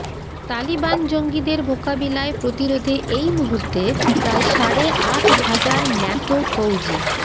তালিবান জঙ্গিদের মোকাবিলায় প্রতিরোধে এই মুহূর্তে প্রায় সাড়ে আট হাজার ন্যাটো ফৌজি